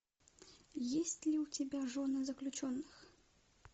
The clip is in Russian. есть ли у тебя жены заключенных